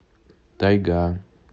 тайга